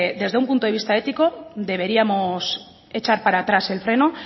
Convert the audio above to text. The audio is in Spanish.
desde un punto de vista ético deberíamos echar para atrás el freno